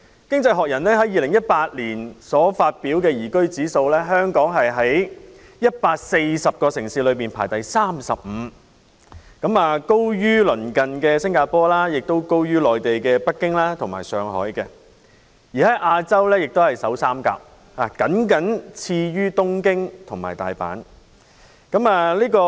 《經濟學人》在2018年發表的"宜居指數"，香港在140個城市中排第三十五位，高於鄰近的新加坡，亦高於內地的北京及上海，在亞洲亦是首3位，僅次於東京及大阪。